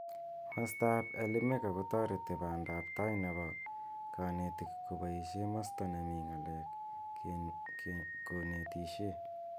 Masta ab Elimika kotoreti banda ab tai nebo kanetik kobaishe masta nemii ng'alek konetishe.